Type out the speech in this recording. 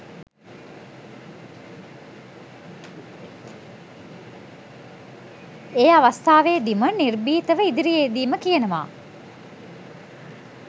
ඒ අවස්ථාවේදීම නිර්භීතව ඉදිරියේදීම කියනවා.